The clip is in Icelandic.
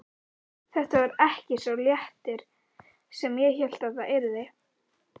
Þetta varð ekki sá léttir sem ég hélt það yrði.